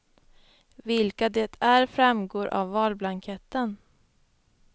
Vilka det är framgår av valblanketten.